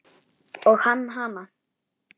Og hann hana.